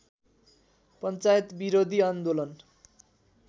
पञ्चायत विरोधी आन्दोलन